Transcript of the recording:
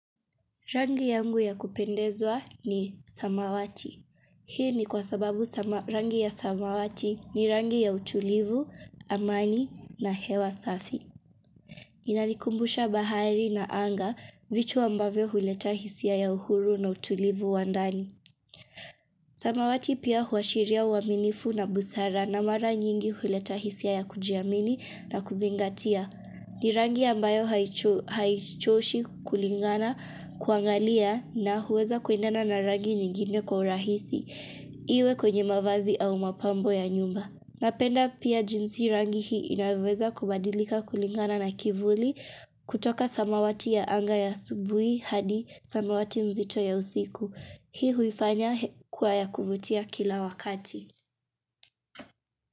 Rangi yangu ya kupendezwa ni samawati. Hii ni kwa sababu rangi ya samawati ni rangi ya utulivu, amani na hewa safi. Inanikumbusha bahari na anga vitu ambavyo huleta hisia ya uhuru na utulivu wa ndani. Samawati pia huashiria uaminifu na busara na mara nyingi huleta hisia ya kujiamini na kuzingatia. Ni rangi ambayo haichoshi kulingana kuangalia na huweza kuendana na rangi nyingine kwa urahisi, iwe kwenye mavazi au mapambo ya nyumba. Napenda pia jinsi rangi hii inavoweza kubadilika kulingana na kivuli kutoka samawati ya anga ya asubui hadi samawati nzito ya usiku. Hii huifanya kuwa ya kuvutia kila wakati.